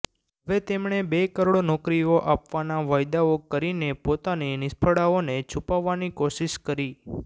હવે તેમણે બે કરોડ નોકરીઓ આપવાના વાયદાઓ કરીને પોતાની નિષ્ફળાઓને છૂપાવવાની કોશિશ કરી